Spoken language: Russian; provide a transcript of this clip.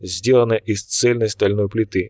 сделано из цельной стальной плиты